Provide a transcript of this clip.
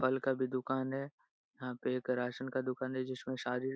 फल का भी दुकान है यहाँ पे एक राशन का दुकान है जिसमें सारी --